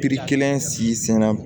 Pikiri kelen si senna